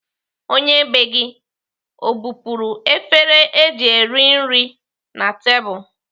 Onye bee gị o bupuru efere eji rie nri na tebụl?